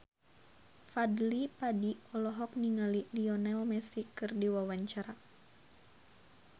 Fadly Padi olohok ningali Lionel Messi keur diwawancara